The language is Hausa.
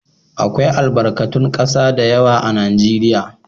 Akwai albakatun ƙasa da yawa a Najeriya.